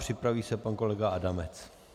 Připraví se pan kolega Adamec.